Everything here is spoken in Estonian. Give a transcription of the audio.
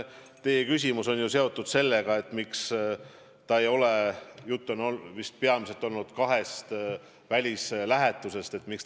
Teie küsimus oli seotud sellega, miks ta ei ole plaaninud välislähetusse minna.